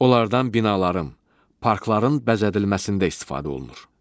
Onlardan binaların, parkların bəzədilməsində istifadə olunur.